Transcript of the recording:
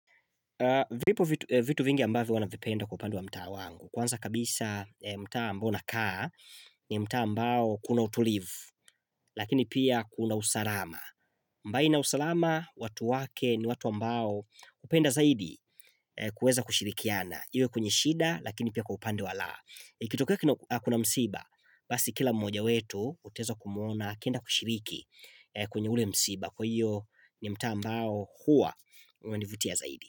Vipo vitu vingi ambavi wanavipenda kwa upande wa mta wangu. Kwanza kabisa mtaa ambao nakaa ni mtaa ambao kuna utulivu lakini pia kuna usalama. Mbali na usalama watu wake ni watu ambao hupenda zaidi kueza kushirikiana. Iwe kwenye shida lakini pia kwa upande wa laa. Ikitokea kuna msiba basi kila mmoja wetu uteza kumuona akenda kushiriki kwenye ule msiba kwa hiyo ni mtaa ambao huwa wanivutia zaidi.